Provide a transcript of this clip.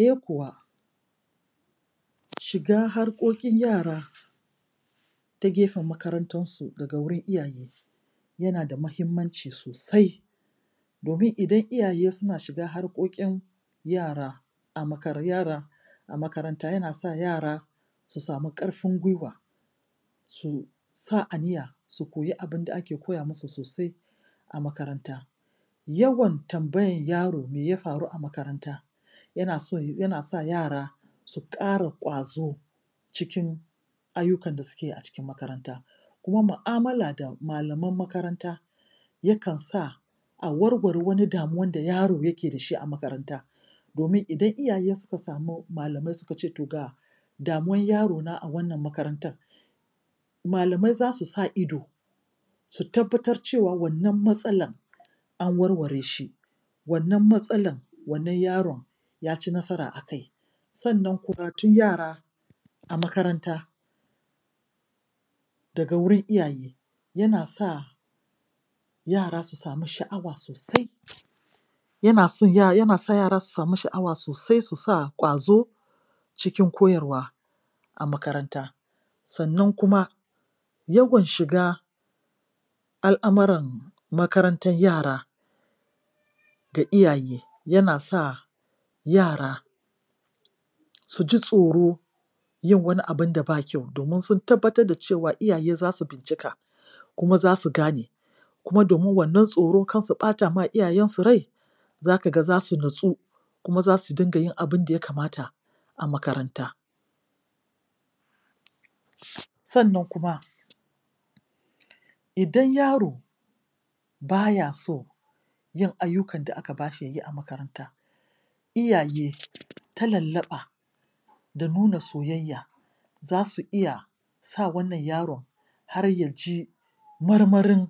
Eh kuwa shiga harƙoƙin yara ta gefen makarantan su daga wurin iyaye yana da mahimmanci sosai, domin idan iyaye suna shiga harƙoƙin yara a makara yara a makaranta, yanasa yara su samu ƙarfin gwuiwa su sa aniya su koyi abunda ake koya musu sosai a makaranta. Yawan tambayan yaro me ya faru a makaranta yana so yana sa yara su ƙara ƙwazo cikin ayyukan da suke yi a cikin makaranta, kuma mu'amala da malaman makaranta yakan sa a warware wani damuwan da yaro yake dashi a makaranta, domin idan iyaye suka samu malamai suka ce toh ga damuwan yarona a wannan makarantan, malamai zasu sa ido su tabbatar cewa wannan matsalan an warware shi, wannan matsalan wannan yaron ya ci nasara a kai, sannan kuma yara a makaranta daga wurin iyaye yana sa yara su samu sha'awa sosai yana son yana sa yara su samu sha'awa sosai, su sa ƙwazo cikin koyarwa a makaranta. Sannan kuma yawan shiga al'amuran makarantar yara ga iyaye yana sa yara suji tsoro yin wani abun da ba kyau domin sun tabbatar da cewa iyaye zasu bincika, kuma zasu gane kuma domin wannan tsoro kar su ɓatama iyayan su rai zaka ga za su natsu kuma zasu dinga yin abunda ya kamata a makaranta Sannan kuma idan yaro baya so yin ayyukan da aka bashi yayi a makaranta, iyaye ta lallaɓa da nuna soyayya zasu iya sa wannan yaron har yaji marmarin